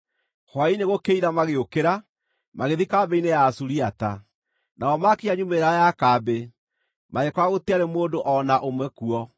Hwaĩ-inĩ gũkĩira magĩũkĩra, magĩthiĩ kambĩ-inĩ ya Asuriata. Nao maakinya nyumĩrĩra ya kambĩ, magĩkora gũtiarĩ mũndũ o na ũmwe kuo,